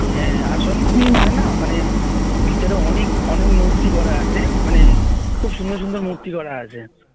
হ্যাঁ আর শোন ওখানে না ভিতরে অনেক অনেক মূর্তি গড়া আছে মানে খুব সুন্দর সুন্দর মূর্তি গড়া আছে